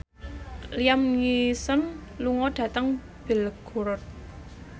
Liam Neeson lunga dhateng Belgorod